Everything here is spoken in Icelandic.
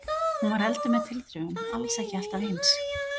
Hún var elduð með tilþrifum, alls ekki alltaf eins.